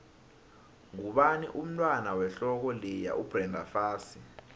ngubani umntwand wehloko leya ubrenda fassie